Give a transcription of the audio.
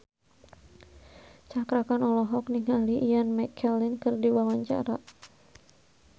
Cakra Khan olohok ningali Ian McKellen keur diwawancara